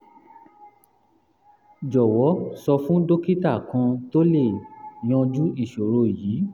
jọwọ sọ fún dókítà kan tó lè yanjú ìṣòro yìí